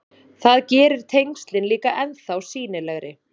Það gerir tengslin líka ennþá sýnilegri.